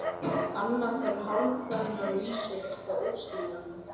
Annað en hálfkveðnar vísur, eitthvað óskiljanlegt.